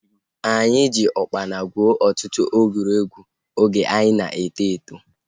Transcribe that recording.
Anyị ji ukpana gwuo ọtụtụ egwuregwu oge anyị ka na-eto eto